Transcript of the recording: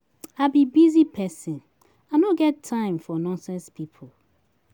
I be busy person I no get time for nonsense people